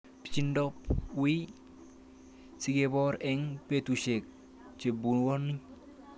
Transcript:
Pichindop wiy sikepor eng' petushek chepuoni